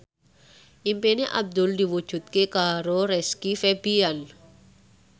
impine Abdul diwujudke karo Rizky Febian